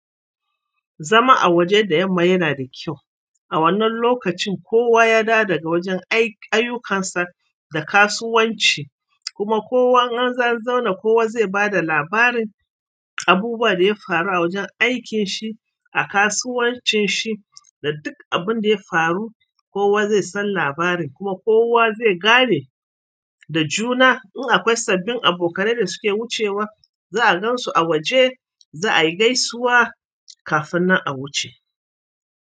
Zama a waje da yamma yana da kyau. A wannan lokacin kowa ya dawo daga wajen ayukansa da kasuwanci kuma kowa in anzo an zauna kowa zai bada labarin abubuwan da ya faru a wajen aiki shi a kasuwancin shi da duk abunda ya faru. Kowa zai san labarin kuma kowa zai gane da juna in akwai sabbin abokai da suke wucewa za'a gansu a waje za a yi gaisuwa kafin nan a wuce.